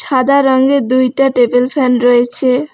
সাদা রঙের দুইটা টেবিল ফ্যান রয়েছে।